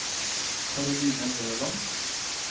Karoline Løland